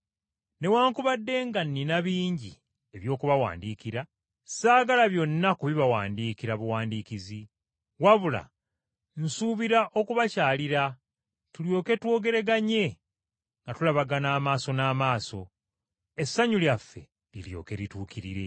Mbadde na bingi eby’okubawandiikira, kyokka saagala byonna kubibawandiikira buwandiikizi, wabula nsuubira okubakyalira tulyoke twogeraganye nga tulabagana amaaso n’amaaso, essanyu lyaffe liryoke lituukirire.